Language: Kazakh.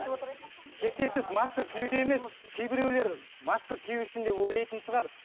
шектен тыс маска киюде емес кейбіреулер маска кию үшін деп ойлайтын шығар